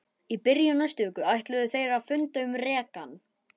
Í byrjun næstu viku ætluðu þeir að funda um rekann.